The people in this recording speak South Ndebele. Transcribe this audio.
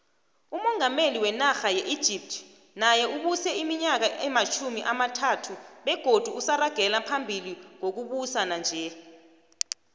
umungameli wenarha ye egypt naye ubuse iminyaka ematjhumi amathathubegodu usaragela phambili ngokubusa nanje